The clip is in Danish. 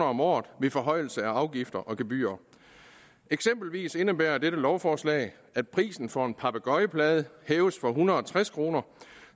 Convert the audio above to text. om året ved forhøjelse af afgifter og gebyrer eksempelvis indebærer dette lovforslag at prisen for en papegøjeplade hæves fra en hundrede og tres kroner